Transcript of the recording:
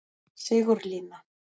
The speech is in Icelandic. Sigurlína